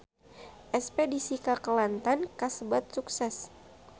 Espedisi ka Kelantan kasebat sukses